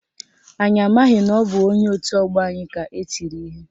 Anyị amaghị na ọ bụ onye otu ọgbọ anyị ka etiri ihe